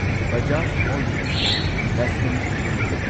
Bajaj holdings and investment limited